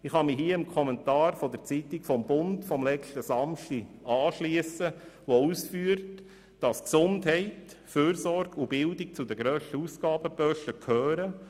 Ich kann mich dem Kommentar in der Zeitung «Der Bund» vom letzten Samstag anschliessen, im welchem ausgeführt wird, dass Gesundheit, Fürsorge und Bildung zu den grössten Ausgabebereichen gehören.